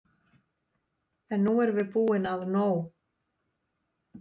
En nú erum við búin að nóg!